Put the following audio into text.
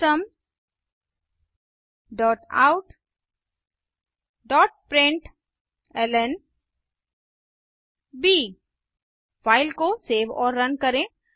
system dot out dot println file को save और run करें